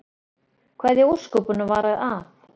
Hvað í ósköpunum var að?